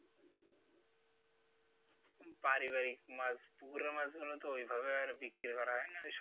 বাড়ি বাড়ি মাছ পুকুরের মাছ গুলো তো ওইভাবে বিক্রি করা হয় না।